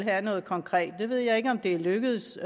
have noget konkret jeg ved ikke om det er lykkedes